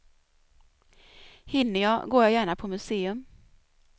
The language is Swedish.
Hinner jag går jag gärna på museum.